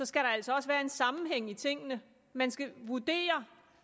skal der altså også være en sammenhæng i tingene man skal vurdere